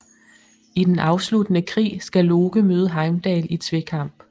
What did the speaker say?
I den afsluttende krig skal Loke møde Heimdall i tvekamp